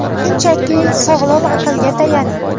Shunchaki, sog‘lom aqlga tayaning.